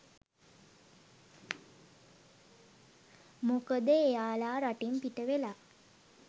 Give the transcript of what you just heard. මොකද එයාලා රටින් පිටවෙලා